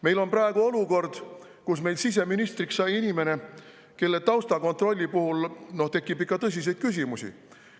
Meil on praegu olukord, kus siseministriks on saanud inimene, kelle taustakontrolli puhul tekib ikka tõsiseid küsimusi.